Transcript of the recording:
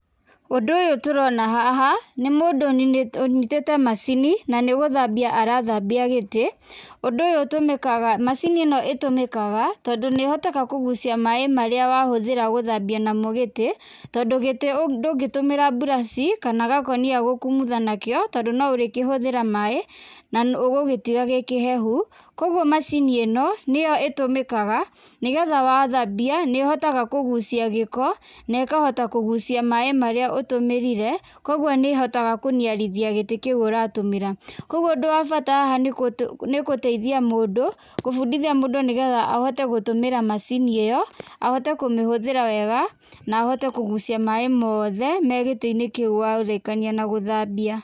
Ũndũ ũyũ tũrona haha nĩ mũndũ ũnyitĩte macini na nĩgũthambia arathambia gĩtĩ. Ũndũ ũyũ ũtũmĩkaga macini ĩno ĩtũmĩkaga tondũ nĩ ĩhotaga kũgucia maĩ marĩa wahũthĩra gũthambia namo gĩtĩ tondũ gĩtĩ ndũngĩtũmĩra mburaciĩ kana gakũnia gũkũmutha nakĩo tondũ no ũrĩkĩhũthĩra maĩ na ũgũgĩtiga gĩkĩhehu. Kwoguo macini ĩno nĩyo ĩtũmĩkaga nĩgetha wathambia nĩ ĩhotaga kũgucia gĩko na ĩkahota kugucia maĩ marĩa ũtũmĩrire, kwoguo nĩ ĩhotaga kũniarithia gĩtĩ kĩu ũratũmĩra. Kwoguo ũndũ wa bata haha nĩ gũteithia mũndũ kũbundithia mũndũ nĩgetha ahote gũtũmĩra macini ĩyo, ahote kũmĩhũthĩra wega na ahote kũgucia maĩ mothe me gĩtĩinĩ kĩu warĩkania na gũthambia.